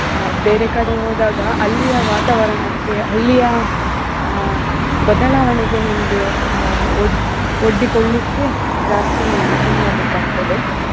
ಆ ಬೇರೆ ಕಡೆ ಹೋದಾಗ ಅಲ್ಲಿಯ ವಾತಾವರಣಕ್ಕೆ ಅಲ್ಲಿಯ ಆಹ್ ಬದಲಾವಣೆಗೆ ನನ್ಗೆ ಆ ಒ~ ಒಡ್ಡಿಕೋಳ್ಲಿಕ್ಕೆ ಜಾಸ್ತಿ ಸಮಯ ಬೇಕಾಗ್ತದೆ.